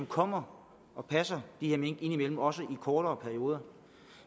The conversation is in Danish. kommer og passer de her mink indimellem også i kortere perioder